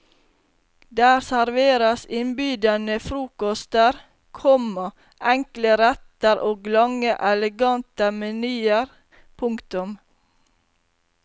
Der serveres innbydende frokoster, komma enkle retter og lange elegante menyer. punktum